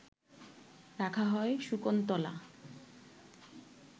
রাখা হয় শকুন্তলা